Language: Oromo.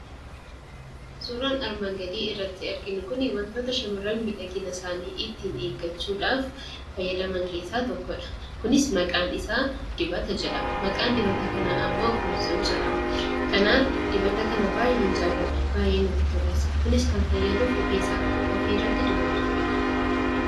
Suuraan armaan gadiirratti arginu kuni wantoota shamarran miidhagina isaanii ittiin eeggachuudhaaf itti fayyadaman keessaa tokkodha. Kunis maqaan isaa 'dibata' jedhama. Maqaan dibata kanaa ammoo 'Consul' jedhama. Kanaaf dibata kana baay'een jaalladha ,baay'ee natti tola. Kunis kan fayyadu rifeensa ofii irratti dibachuufidha.